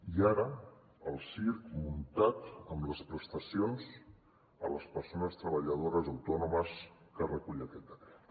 i ara el circ muntat amb les prestacions a les persones treballadores autònomes que recull aquest decret